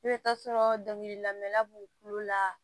I bɛ taa sɔrɔ dɔnkili lamɛla b'u kulo la